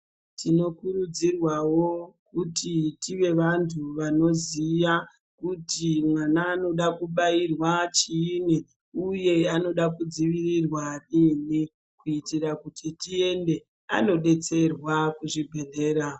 Tinokurudzirwawo kuti tive vantu vanoziya kuti mwana anoda kubairwa chiini uye anoda kudzivirirwa riini kuitira kuti tiende andodetserwa kuzvibhedhlera.